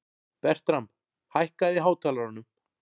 Bertram, hækkaðu í hátalaranum.